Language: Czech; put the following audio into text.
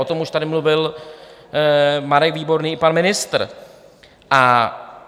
O tom už tady mluvil Marek Výborný i pan ministr.